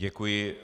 Děkuji.